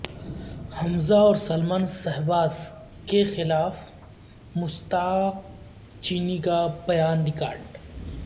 حمزہ اور سلمان شہباز کیخلاف مشتاق چینی کا بیان ریکارڈ